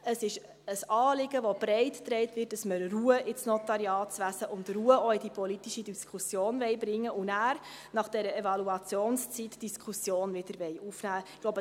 Es ist ein Anliegen, das breit getragen wird, dass man Ruhe in das Notariatswesen und auch Ruhe in die politische Diskussion bringen und danach, nach dieser Evaluationszeit, die Diskussion wiederaufnehmen will.